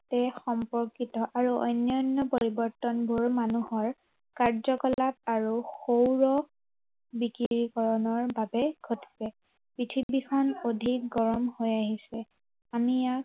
এক সম্পৰ্কিত আৰু অন্য়ান্য় পৰিৱৰ্তনবোৰ মানুহৰ কাৰ্যকলাপ আৰু সৌৰ বিকিৰিকৰণৰ বাবে ঘটিছে। পৃথিৱীখন অধিক গৰম হৈ আহিছে। আমি ইয়াক